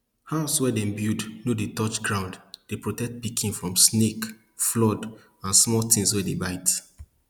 haus wey dem build no dey touch ground dey protect pikin from snake flood an small tins wey dey bite